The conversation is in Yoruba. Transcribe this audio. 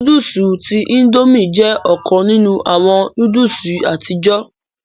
Núdùùsì tí Índòmí jẹ ọkan ninu awọn núdùùsì àtijọ.